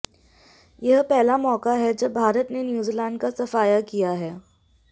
यह पहला मौका है जब भारत ने न्यूजीलैंड का सफाया किया है